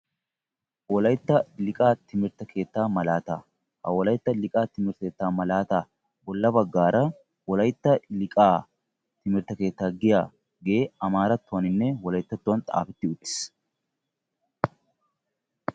Wolaytta liiqa timirtte keetta malaatta ha malaattan wolaytta liiqa timirtte keetta giyaage amaarattuwaninne wolayttattuwan xaafetti uttiis.